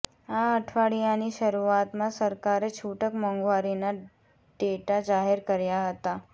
આ અઠવાડિયાની શરૂઆતમાં સરકારે છૂટક મોંઘવારીના ડેટા જાહેર કર્યા હતા